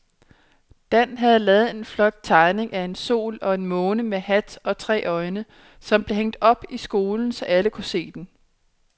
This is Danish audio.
Dan havde lavet en flot tegning af en sol og en måne med hat og tre øjne, som blev hængt op i skolen, så alle kunne se den.